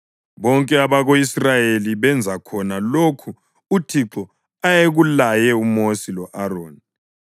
Bonke abako-Israyeli benza khona lokhu uThixo ayekulaye uMosi lo-Aroni.